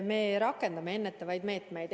Me rakendame ennetavaid meetmeid.